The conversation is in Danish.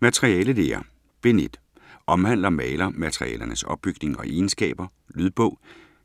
Materialelære Bind 1. Omhandler malermaterialernes opbygning og egenskaber. Lydbog